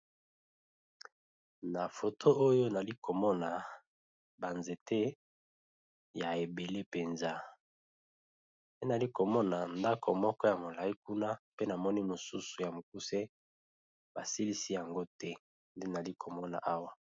Na foto oyo nali komona ba nzete ya ebele mpenza pe nali komona ndako moko ya molayi kuna pe namoni mosusu ya mokuse, ba silisi yango te nde nali komona awa.